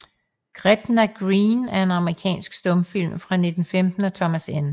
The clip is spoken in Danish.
Gretna Green er en amerikansk stumfilm fra 1915 af Thomas N